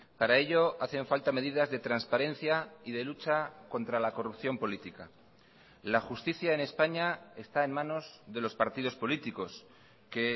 para ello hacen falta medidas de transparencia y de lucha contra la corrupción política la justicia en españa está en manos de los partidos políticos que